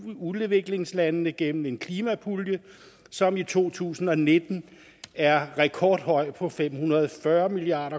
udviklingslandene gennem en klimapulje som i to tusind og nitten er rekordhøj på fem hundrede og fyrre milliard